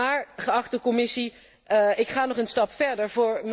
Maar, geachte Commissie, ik ga nog een stap verder.